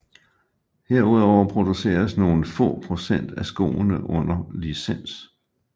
Herudover produceres nogle få procent af skoene under licens